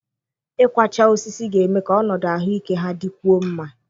Ịkwachaa osisi ga-eme ka ọnọdụ ahụike ha dịkwuo mma.